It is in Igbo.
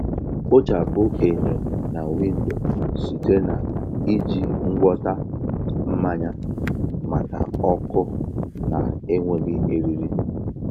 Kpochapụ enyo na windo site na iji ngwọta mmanya maka ọkụ na-enweghị eriri.